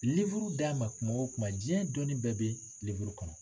d'a ma kuma wo kuma diɲɛ dɔnni bɛɛ bɛ kɔnɔ.